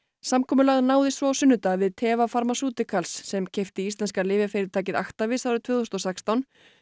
samkomulag náðist svo á sunnudag við Teva Pharmaceuticals sem keypti íslenska lyfjafyrirtækið Actavis árið tvö þúsund og sextán